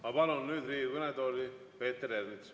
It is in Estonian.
Ma palun nüüd Riigikogu kõnetooli Peeter Ernitsa.